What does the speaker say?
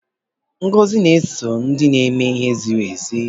Ngọzi na-eso ndị na-eme ihe ziri ezi